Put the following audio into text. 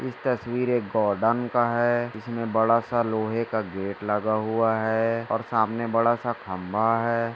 इस तस्वीर एक गार्डन का हैं। इसमें बड़ा सा लोहे का गेट लगा हुआ हैं और सामने बड़ा सा खबा हैं।